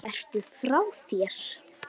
Ertu frá þér?